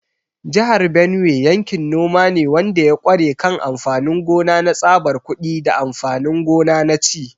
Jihar Benue yankin noma ne wanda ya ƙware kan amfanin gona na tsabar kuɗi da amfanin gona na ci.